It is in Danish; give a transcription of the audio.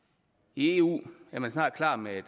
i eu er man snart klar med